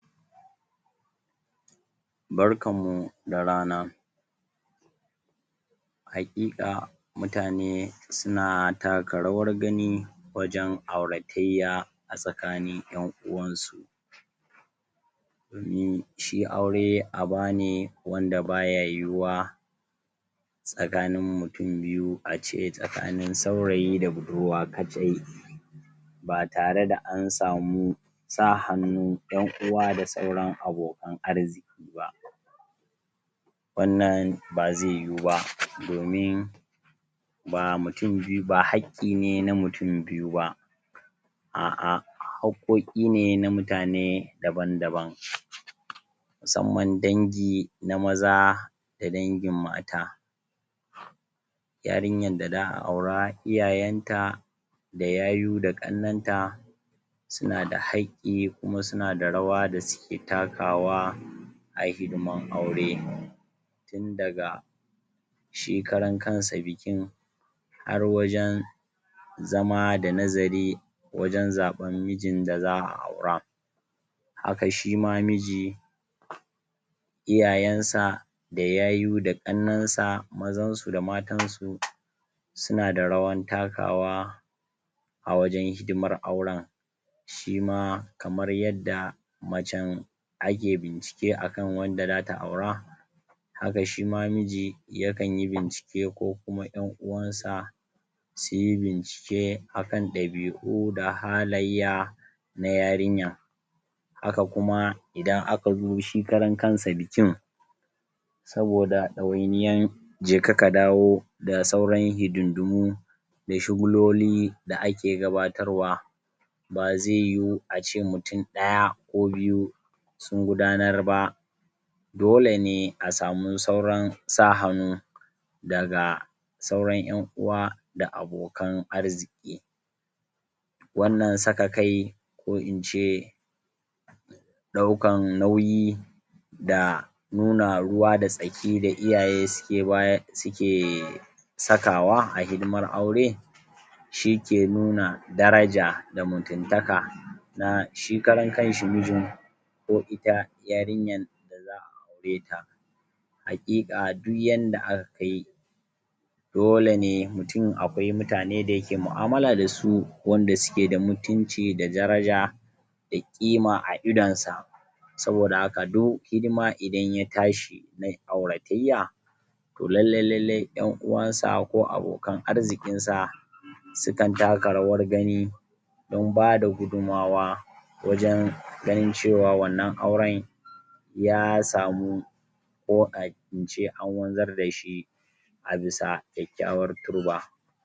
barkanmu da rana haƙiƙa mutane suna taka rawar gaji wajan auratayya a tsakanin ƴan uwansu domin shi aure abane wanda baya yuwuwa tsakanin mutun biyu ace tsakanin saurayi da budurwa kaɗai ba tare da ansamu sa hannun ƴan uwa da sauran abokan arziki ba wannan ba zai yuwuba domin ba mutun biyu ba hakki ne na mutun biyu ba a'a hakƙoƙi ne na mutane daban daban musamman dangi na maza da dangin mata yarinyan da za'a aura iyayanta da yayu da ƙannanta suna da hakƙi kuma suna da rawa da suke takawa a hidiman aure tun daga shi karan kansa bikin har wajan zama da nazari wajan zaɓan mijin da za a aura haka shima miji iyayansa da yayu da ƙannansa mazansu da matansu suna da rawan takawa a wajan hidimar auran shima kamar yadda macan ake bincike akan wanda zata aura haka shima miji yakanyi bincike ko kuma ƴan uwansa suyi bincike akan ɗabi'u da halayya na yarinya haka kuma idan akazo shi karan kansa bikin saboda ɗawainiyan jeka kadawo da sauran hidindimu da shugululi da ake gabatarwa ba zaiyu ace mutun ɗaya ko biyu sun gudanar ba dole ne a samu sauran sa hanu daga sauran ƴan uwa da abokan arziki wannan saka kai ko ince ɗaukan nauyi da nuna ruwa da tsaki da iyaye suke sakawa a hidimar aure shike nuna daraja da mutuntaka na shi karan kanshi mijin ko ita yarinyan da za a aure ta haƙiƙa don yadda aka kai dole ne mutun aƙwai mutane da yake mu'amala dasu wanda suke da mutunci da daraja da ƙima a idonsa saboda haka do hidima idan ya tashi na auratayya to lallai lallai ƴan'uwansa ko abokan arzikinsa sukan taka rawar gani don bada gudunmawa wajan ganin cewa wannan aura ya samu ko ƙa ince anwanzar dashi a bisa kyakyawar turba